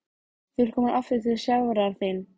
Þú ert komin aftur til sjálfrar þín.